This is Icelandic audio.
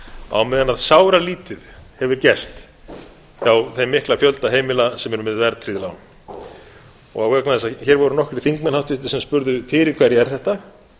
á meðan sáralítið hefur gerst hjá þeim mikla fjölda heimila sem er með verðtryggð lán og vegna þess að hér voru nokkrir háttvirtir þingmenn sem spurðu fyrir hverja er þetta